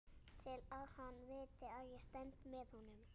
Til að hann viti að ég stend með honum.